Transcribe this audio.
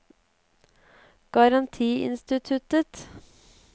garantiinstituttet